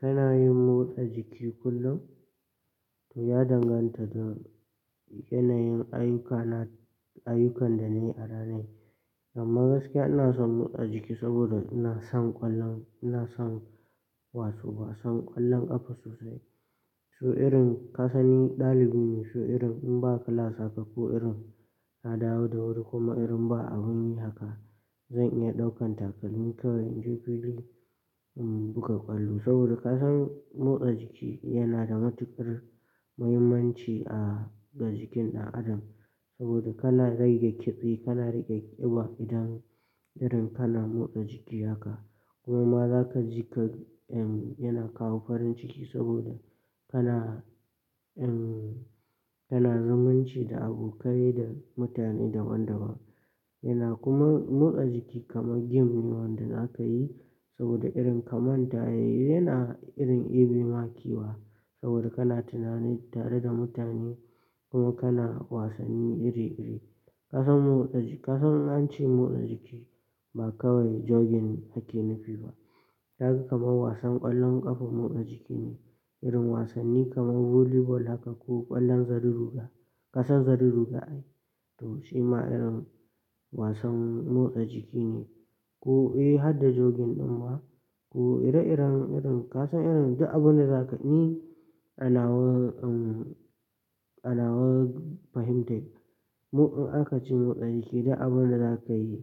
Kana yin motsa jiki kullum? Toh, ya danganta da yanayin ayyukan da na yi a ranai. Amma gaskiya ana son motsa jiki saboda ina son ƙwallon, ina son wasan ƙwallon ƙafa sosai. Ko irin ka sanni ɗalibi ne, so irin in ba class haka ko irin na dawo da wuri kuma irin ba abin yi haka, zan iya ɗaukan takalmi kawai in je fili in buga kwallo. Saboda ka san motsa jiki yana da matuƙar muhimmanci a ga jikin ɗan adam. Saboda kana rage ƙitse, kana rage ƙiba idan irin kana motsa jiki haka. Kuma za ka ji ka, ehm, yana kawo farin ciki saboda kana, ehm, yana zumunci da abokai da mutane daban-daban. Yana kuma motsa jiki kamar game ne wanda zaka yi. Saboda irin ka manta, ya-yana irin ebe ma kewa, saboda kana tunani tare da mutane, kuma kana wasanni iri-iri. Ka san motsa ji-- ka san an ce motsa jiki, ba kawai jogging ake nufi ba. Ka ga kamar wasan ƙwallon ƙafa motsa jiki ne, irin wasanni kamar volleyball haka, ko ƙwallon zari zuga. Ka san zari zuga ai? To, shima irin, wasan motsa jiki ne. Ko, eh, hadda jogging ɗin ma, to ire-iren irin ka san irin duk abin da za ka ni ana wa, ehm, ana wa fahimtai, Mu in aka ce motsa jiki, duk abin da za ka yi,